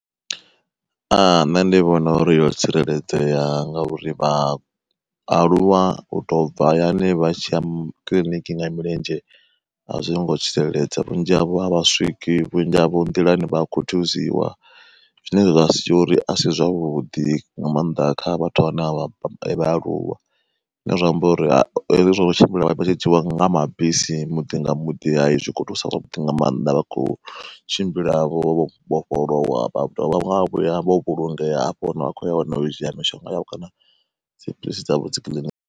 Nṋe ndi vhona uri yo tsireledzea nga uri vhaaluwa u to bva hayani vha tshiya kiḽiniki nga milenzhe, a zwi ngo tsireledzea vhunzhi havho a vha swiki vhunzhi havho nḓilani vha a khuthiziwa. Zwine zwa sia uri asi zwavhuḓi nga maanḓa kha vhathu vhane vha vhaaluwa, zwine zwa amba uri hezwi zwo tshimbila vha tshi dzhiiwa nga mabisi muḓi nga muḓi, zwi khou thusa zwavhuḓi nga mannḓa vha khou tshimbila vho vhofholowa vha dovha vha vhuya vho vhulungea afho hune vha khoya hone u dzhia mishonga yavho kana dziphiḽisi dzavho dzikiḽiniki.